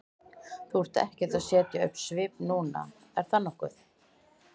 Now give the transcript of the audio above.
Þú ert ekkert að setja upp svip núna, er það nokkuð?